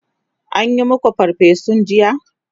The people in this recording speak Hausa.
an maku farfesun jiya?